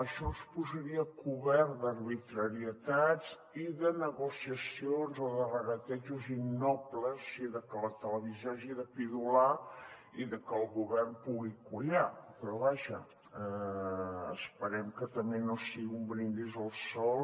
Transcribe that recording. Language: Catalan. això ens posaria a cobert d’arbitrarietats i de negociacions o de regatejos innobles o sigui de que la televisió hagi de pidolar i de que el govern pugui collar però vaja esperem que també no sigui un brindis al sol